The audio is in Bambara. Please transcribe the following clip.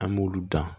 An b'olu dan